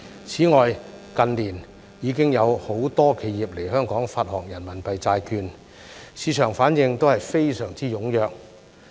此外，近年已經有很多企業來港發行人民幣債券，市場反應都非常踴躍。